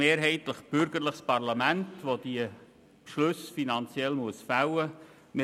Wir haben ein mehrheitlich bürgerliches Parlament, das diese finanziellen Beschlüsse fällen muss.